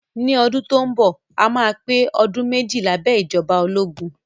Ní ọdún tó ń bọ̀, a máa pé ọdún méjì lábẹ́ ìjọba ológun